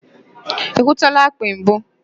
Ị hụtụla akpị mbụ?